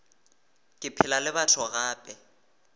ke phela le batho gape